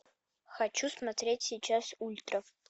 хочу смотреть сейчас ультра